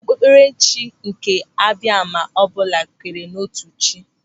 Okpukperechi nke Abiama ọbụla kwenyere n'otu chi.